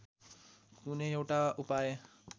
कुनै एउटा उपाय